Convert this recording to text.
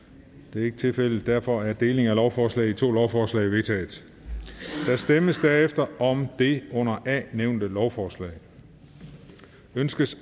det er ikke tilfældet og derfor er delingen af lovforslaget i to lovforslag vedtaget der stemmes derefter om det under a nævnte lovforslag ønskes